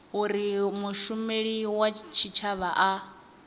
uri mushumeli wa tshitshavha a